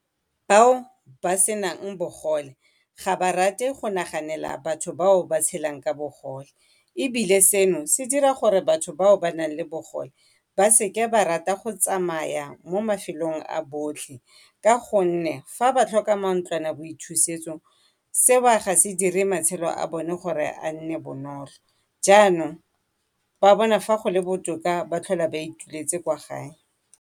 Bao ba senang bogole ga ba rate go naganela ba ba tshelang ka bogole ebile seno se dira gore batho ba ba nang le bogole ba seke ba rate go tsamaya mo mafelong a botlhe ka gonne ga ba tlhoka mantlwanaboithusetsong, seo ga se dire gore matshelo a bone gore a nne bonolo. Jaanong ba bona fa go le botoka go tlhola ba ituletse kwa gae.